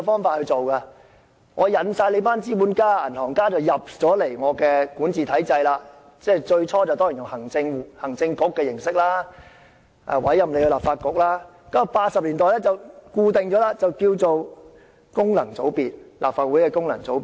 當時，殖民地政府吸引了一群資本家、銀行家加入管治體制，最初以行政局的組成形式委任立法局，然後在1980年代後，這部分便成了立法會功能界別。